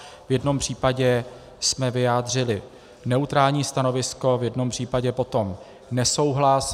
V jednom případě jsme vyjádřili neutrální stanovisko, v jednom případě potom nesouhlas.